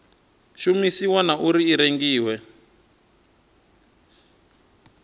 shumisiwa na uri i rengiwa